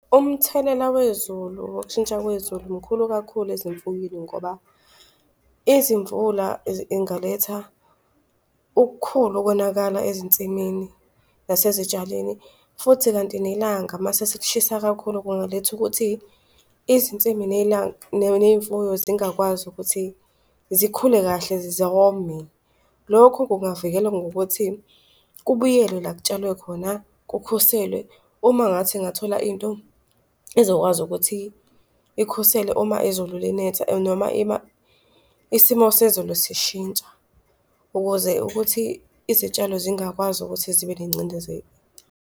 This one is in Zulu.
Umthelela wezulu, wokushintsha kwezulu mkhulu kakhulu azimfuywini ngoba izimvula ingaletha ukukhulu ukonakala ezinsimini nasezitshalweni. Futhi kanti nelanga mase selishisa kakhulu kungaletha ukuthi izinsimi nelanga ney'mfuyo zingakwazi ukuthi zikhule kahle zome. Lokhu kungavikela ngokuthi kubuyelwe la kutshalwe khona, kukhuselwe uma ngathi ngathola into ezokwazi ukuthi ikhusele uma izulu linetha noma isimo sezulu sishintsha ukuze ukuthi izitshalo zingakwazi ukuthi zibe nengcindezelo.